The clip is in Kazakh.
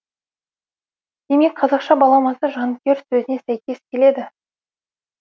демек қазақша баламасы жанкүйер сөзіне сәйкес келеді